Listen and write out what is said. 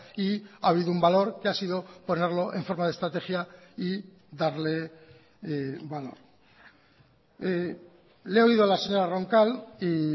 y ha habido un valor que ha sido ponerlo en forma de estrategia y darle valor le he oído a la señora roncal y